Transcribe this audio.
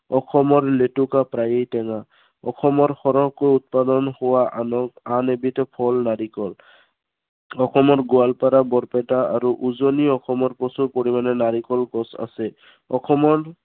অসমৰ লেতুকা প্ৰায়ে টেঙা। অসমৰ সৰহকৈ উৎপাদন হোৱা আন এবিধ ফল নাৰিকল। অসমত গোৱালপাৰা, বৰপেটা আৰু উজনি অসমত প্ৰচুৰ পৰিমানে নাৰিকল গছ আছে। অসমৰ